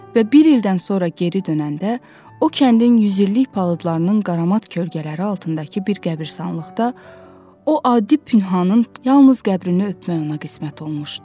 Və bir ildən sonra geri dönəndə o kəndin yüz illik palıdlarının qaramat kölgələri altındakı bir qəbirstanlıqda o adi Pünhanın yalnız qəbrini öpmək ona qismət olmuşdu.